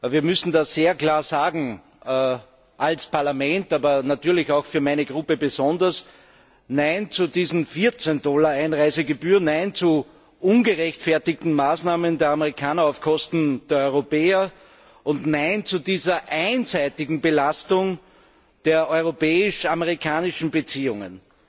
Wir müssen das sehr klar sagen, als Parlament, aber natürlich besonders für meine Fraktion Nein zu diesen 14 Dollar Einreisegebühren, nein zu ungerechtfertigten Maßnahmen der Amerikaner auf Kosten der Europäer und nein zu dieser einseitigen Belastung der europäisch amerikanischen Beziehungen.